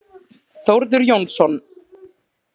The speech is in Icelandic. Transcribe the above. Þórður Jónsson.